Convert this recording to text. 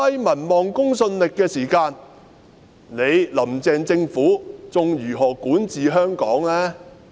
民望和公信力這麼低的時候，"林鄭"政府還如何管治香港呢？